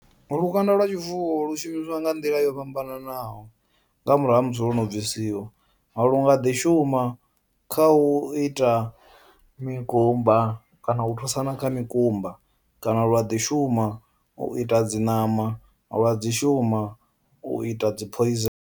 Lukanda lwa tshifuwo lu shumisiwa nga nḓila yo fhambananaho nga murahu ha musi lwo no bvisiwa lu nga ḓi shuma kha u ita mikumba kana u thusana kha mikumba kana lwa ḓi shuma u ita dzi ṋama, lwa dzi shuma u ita dzi poison.